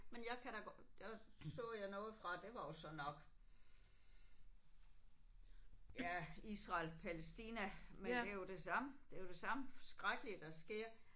Men jeg kan da godt der så jeg noget fra det var jo så nok ja Israel Palæstina men det er jo det samme det er jo det samme skrækkelige der sker